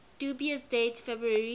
dubious date february